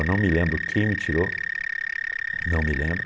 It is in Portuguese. Eu não me lembro quem me tirou, não me lembro.